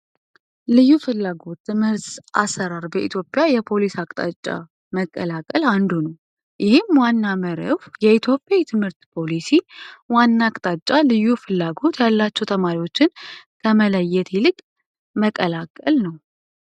ልዩ ፍላጎት ትምህርት አሠራር በኢትዮጵያ የፖሊስ አቅጣጫ መቀላቀል አንዱ ነው። ይህም ዋና መርሁ የኢትዮጵያ ትምህርት ፖሊሲ ዋና አቅጣጫ ልዩ ፍላጎት ያላቸው ተማሪዎችን ከመለየት ይልቅ መቀላቀል ነው።